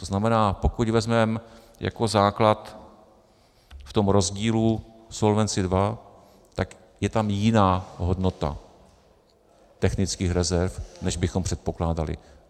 To znamená, pokud vezmeme jako základ v tom rozdílu Solvency II, tak je tam jiná hodnota technických rezerv, než bychom předpokládali.